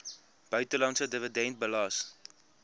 buitelandse dividend belas